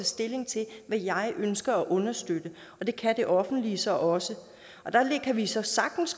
stilling til hvad jeg ønsker at understøtte og det kan det offentlige så også der kan vi så sagtens